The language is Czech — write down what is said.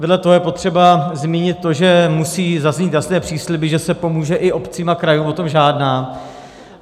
Vedle toho je potřeba zmínit to, že musí zaznít jasné přísliby, že se pomůže i obcím a krajům, o tom žádná.